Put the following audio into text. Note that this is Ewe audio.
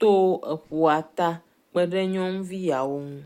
to eƒua ta kpe ɖe nyɔnuvi yawo ŋu.